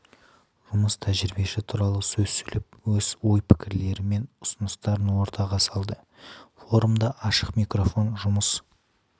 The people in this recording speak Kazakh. жұмыс тәжірибесі туралы сөз сөйлеп өз ой-пікірлері мен ұсыныстарын ортаға салды форумда ашық микрофон жұмыс